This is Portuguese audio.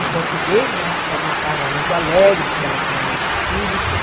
O português, mas era uma casa muito alegre, porque ela tinha muitos filhos, tudo.